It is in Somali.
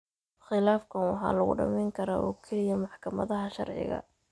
Khilaafkan waxa lagu dhamayn karaa oo keliya maxkamadaha sharciga.